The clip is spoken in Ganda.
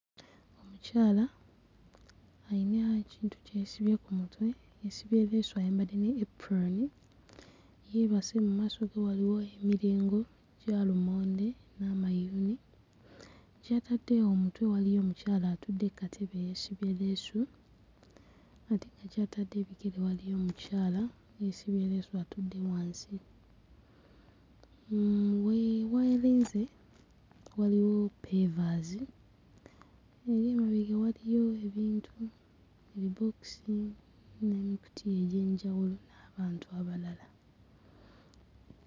Omukyala ayina ekintu kye yeesibye ku mutwe, yeesibye leesu ayambadde ne epron, yeebase mu maaso ge waliwo emirengo gya lumonde n'amayuuni, gy'atadde omutwe waliyo omukyala atudde katebe yeesibye leesu ate nga gy'atadde ebigere waliyo omukyala yeesibye leesu atudde wansi, hmm we werinze waliwo ppevaazi eri emabega waliyo ebintu ebibookisi n'ebikutiya bingi n'abantu abalala.